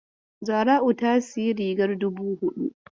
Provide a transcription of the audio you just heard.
Zara'u ta sayi rigar dubu huɗu.